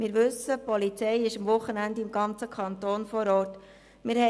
Wir wissen, dass die Polizei an den Wochenenden im ganzen Kanton vor Ort ist.